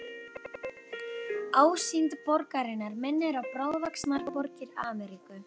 Ásýnd borgarinnar minnir á bráðvaxnar borgir Ameríku.